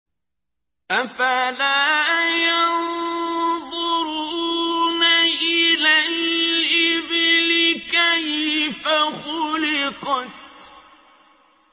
أَفَلَا يَنظُرُونَ إِلَى الْإِبِلِ كَيْفَ خُلِقَتْ